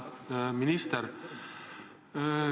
Auväärt minister!